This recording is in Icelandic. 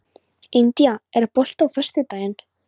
India, er bolti á föstudaginn?